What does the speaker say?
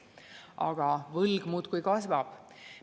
Aga võlg muudkui kasvab.